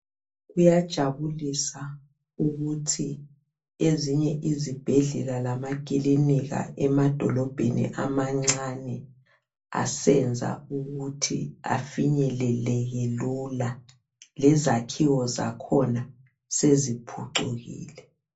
Kuyajabulisa ukuthi ezinye izibhedlela lamakilinika emadolobheni amancane asenza ukuthi ufinyeleleke lula lezakhiwo zakhona seziphucukile.